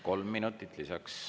Kolm minutit lisaks.